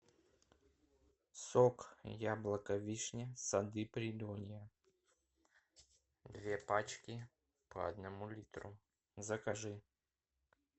сок яблоко вишня сады придонья две пачки по одному литру закажи